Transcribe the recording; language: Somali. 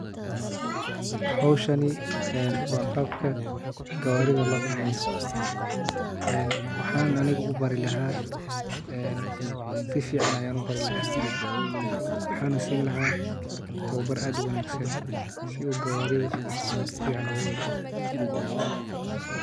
Howshani een waa qbaka gawaaridha loo kaxeeyo waxaan aniga ubarai laha sifican ayaan ubari lahaa en sifican ayaan ubari laha waxaana siini lahaa towbar aad unaagsan si uu gawaaridha sifican uguwadgo.